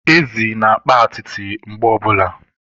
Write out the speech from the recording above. Ezi na-akpa atịtị mgbe ọbụla